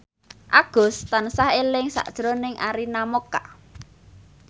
Agus tansah eling sakjroning Arina Mocca